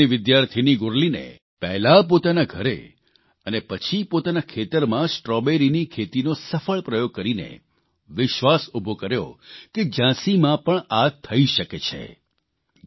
કાયદાની વિદ્યાર્થીની ગુરલીને પહેલાં પોતાના ઘરે અને પછી પોતાના ખેતરમાં સ્ટ્રોબેરીની ખેતીનો સફળ પ્રયોગ કરીને વિશ્વાસ ઉભો કર્યો કે ઝાંસીમાં પણ આ થઇ શકે છે